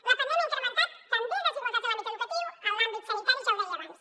la pandèmia ha incrementat també desigualtats en l’àmbit educatiu en l’àmbit sanitari ja ho deia abans